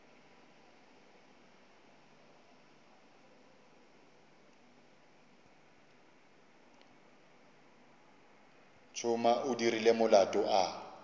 tšhuma o dirile molato a